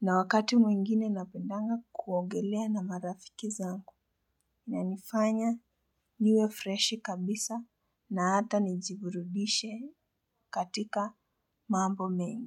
Na wakati mwingine napendanga kuogelea na marafiki zangu inanifanya niwe freshi kabisa na hata nijiburudishe katika mambo mengi.